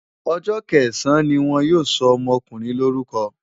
Ọjọ́ kẹsàn-án ni wọ́n yóò sọ ọmọkùnrin lórúkọ.